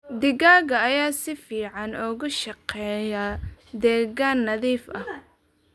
Digaagga ayaa si fiican ugu shaqeeya deegaan nadiif ah.